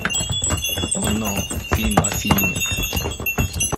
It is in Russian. оно фильм о фильме